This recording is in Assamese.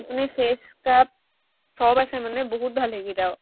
মানে face scrub সৱ আছে মানে বহুত ভাল সেইকেইটাও।